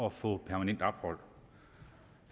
at få permanent ophold